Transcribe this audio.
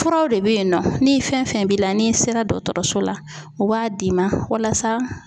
Furaw de bɛ yen nɔ ni fɛn fɛn b'i la n'i sera dɔtɔrɔso la u b'a d'i ma walasa